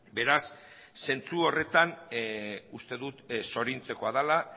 beraz zentzu horretan uste dut zoriontzekoa dela